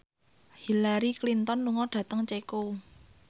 Hillary Clinton lunga dhateng Ceko